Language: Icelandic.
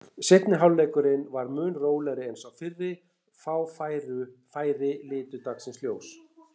Seinni hálfleikurinn var mun rólegri en sá fyrri, fá færi litu dagsins ljós.